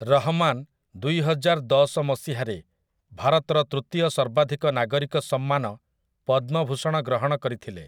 ରହମାନ୍ ଦୁଇହଜାରଦଶ ମସିହାରେ ଭାରତର ତୃତୀୟ ସର୍ବାଧିକ ନାଗରିକ ସମ୍ମାନ ପଦ୍ମଭୂଷଣ ଗ୍ରହଣ କରିଥିଲେ ।